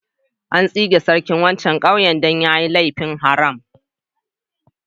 An tsige sarkin wancan ƙauyen dan ya yi laifin haram.